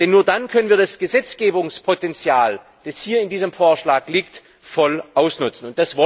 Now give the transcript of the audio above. Denn nur dann können wir das Gesetzgebungspotenzial, das in diesem Vorschlag liegt, voll ausnutzen.